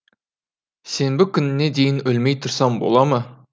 сенбі күніне дейін өлмей тұрсам бола ма